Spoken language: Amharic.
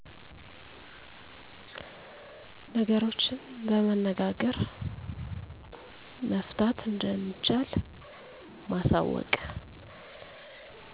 ነገሮችን በመነጋገር መፍታት እንደሚቻል ማሳወቅ